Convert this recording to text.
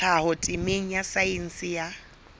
tlhaho temeng ya saense ya